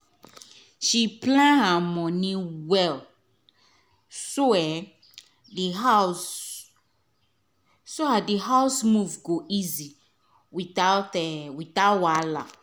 she plan her money well so the house move go easy without without wahala.